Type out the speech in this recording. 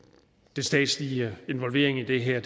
den statslige involvering i det her